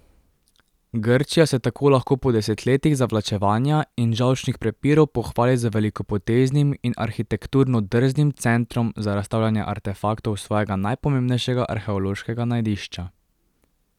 Grčija se tako lahko po desetletjih zavlačevanja in žolčnih prepirov pohvali z velikopoteznim in arhitekturno drznim centrom za razstavljanje artefaktov svojega najpomembnejšega arheološkega najdišča.